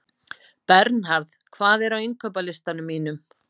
Bernharð, hvað er á innkaupalistanum mínum?